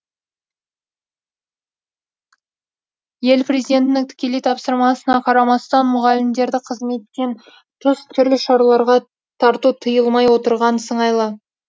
ел президентінің тікелей тапсырмасына қарамастан мұғалімдерді қызметтен тыс түрлі шараларға тарту тыйылмай отырған сыңайлы